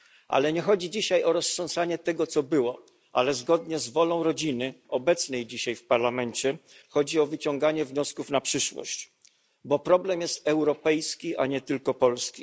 Ale nie chodzi dzisiaj o roztrząsanie tego, co było, ale zgodnie z wolą rodziny obecnej dzisiaj w Parlamencie chodzi o wyciągnięcie wniosków na przyszłość, bo problem jest europejski, a nie tylko polski.